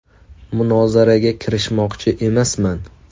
Munozaraga kirishmoqchi emasman.